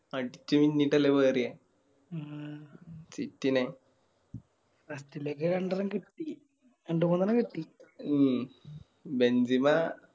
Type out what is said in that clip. അടിച്ച് പൊങ്ങിട്ടല്ലേ മാറിയേ